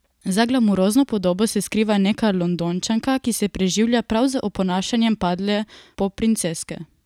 Za glamurozno podobo se skriva neka Londončanka, ki se preživlja prav z oponašanjem padle popprinceske.